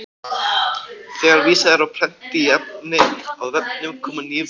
Þegar vísað er á prenti í efni á vefnum koma ný viðhorf upp.